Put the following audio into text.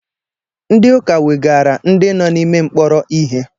Ndị ụka wegara ndị nọ n’ime mkpọrọ ihe